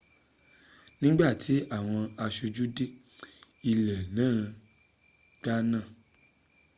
ní ìgbà tí àwọn aṣojú dé ilé náà gbaná